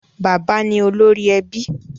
Bàbá ni olórí ẹbí.